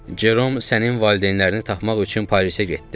Cerom sənin valideynlərini taxmaq üçün Parisə getdi.